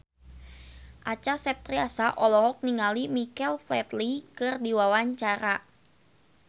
Acha Septriasa olohok ningali Michael Flatley keur diwawancara